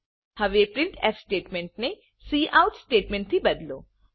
હવે printfસ્ટેટમેન્ટને કાઉટ સ્ટેટમેન્ટથી બદલો